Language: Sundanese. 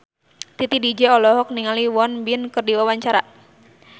Titi DJ olohok ningali Won Bin keur diwawancara